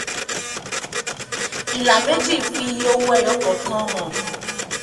ìlà méjì fi iye owó ẹyọ kọ̀ọ̀kan hàn